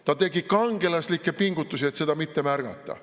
Ta tegi kangelaslikke pingutusi, et seda mitte märgata.